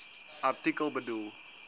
artikel bedoel